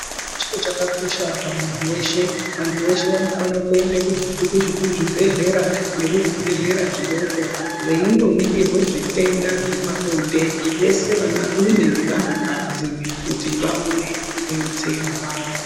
Chiro chakakosha pamuntu weshe vantu veshe vanofanire kuenda kuzvibhedhleya nekuzvibhedhleya zvidoko veindonengerwe zvitenda zvepabonde vese vanhuarume nevanhukadzi kuti vaone kubetserwa